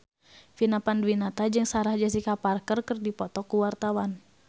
Vina Panduwinata jeung Sarah Jessica Parker keur dipoto ku wartawan